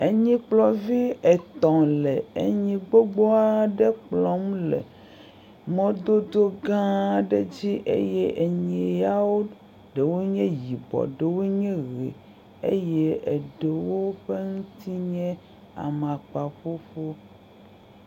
Enyikplɔvi etɔ̃ le enyi gbogbo aɖe kplɔm le mɔdodo gãã aɖe dzi eye enyi yawo ɖewo nye yibɔ ɖewo nye ʋee eye eɖewo ƒe ŋuti nye amakpaƒuƒu.